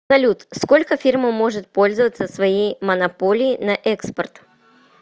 салют сколько фирма может пользоваться своей монополией на экспорт